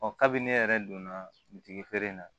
kabi ne yɛrɛ donna jigi feere in na